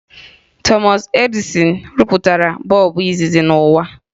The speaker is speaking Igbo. Thomas Edison rụpụtara bọọbụ izizi n'ụwa